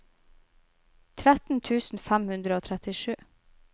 tretten tusen fem hundre og trettisju